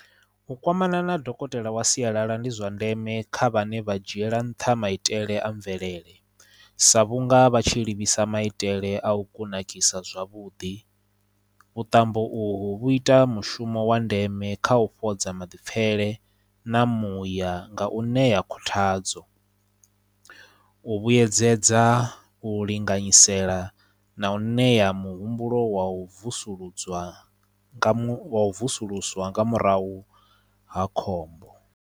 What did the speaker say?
U kwamana na dokotela wa sialala ndi zwa ndeme kha vhane vha dzhiela nṱha maitele a mvelele sa vhunga vha tshi livhisa maitele a u kunakisa zwavhuḓi vhuṱambo u hu vhu ita mushumo wa ndeme kha u fhodza maḓipfele na muya nga u ṋea khuthadzo u vhuyedzedza u linganyisela na u ṋea muhumbulo wa u vusuludzwa u vusuluswa nga murahu ha khombo.